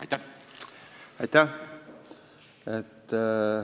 Aitäh!